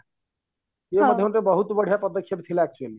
ୟେ ମଧ୍ୟ ଗୋଟେ ବହୁତ ବଢିଆ ପଦକ୍ଷେପ ଥିଲା actually